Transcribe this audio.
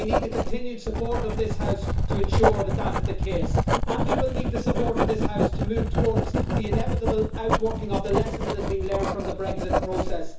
We need the continued support of this House to ensure that that is the case, and we will need the support of this House to move towards the inevitable outworking of the lesson that has been learned from the Brexit process.